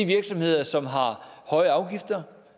virksomheder som har høje afgifter